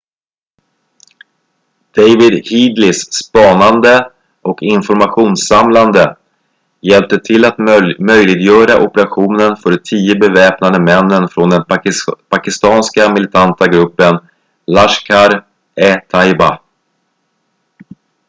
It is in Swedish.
david headlys spanande och informationssamlande hjälpte till att möjliggöra operationen för de 10 beväpnade männen från den pakistanska militanta gruppen laskhar-e-taiba